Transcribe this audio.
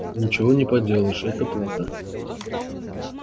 ничего не поделаешь это плата